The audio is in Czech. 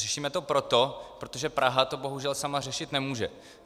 Řešíme to proto, protože Praha to bohužel sama řešit nemůže.